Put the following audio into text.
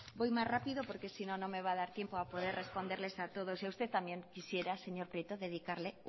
voy más rápido porque si no no me va a dar tiempo a poder responderles a todos y a usted también quisiera señor prieto dedicarle